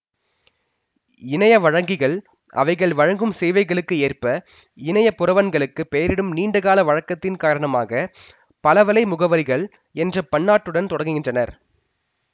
இணையப் வழங்கிகள் அவைகள் வழங்கும் சேவைகளுக்கு ஏற்ப இணையப் புரவன்களுக்குப் பெயரிடும் நீண்டகால வழக்கத்தின் காரணமாக பல வலை முகவரிகள் என்ற முன்னொட்டுடன் தொடங்குகின்றன